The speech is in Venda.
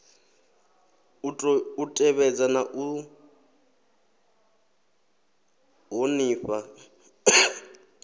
u tevhedza na u ṱhonifha